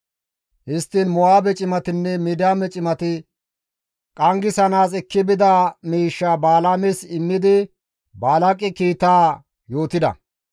Histtiin Mo7aabe cimatinne Midiyaame cimati qanggisanaas ekki bida miishsha Balaames immidi Baalaaqe kiitaa yootida.